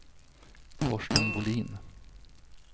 Torsten Bolin